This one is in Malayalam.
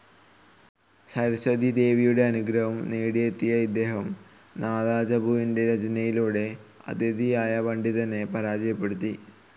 സരസ്വതീദേവിയുടെ അനുഗ്രഹം നേടിയെത്തിയ ഇദ്ദേഹം നാദചമ്പുവിൻ്റെ രചനയിലൂടെ അതിഥിയായ പണ്ഡിതനെ പരാജയപ്പെടുത്തി.